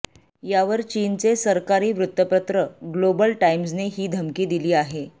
यावर चीनचे सरकारी वृत्तपत्र ग्लोबल टाईम्सने ही धमकी दिली आहे